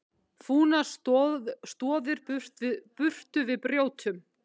Fúnar stoðir burtu við brjótum!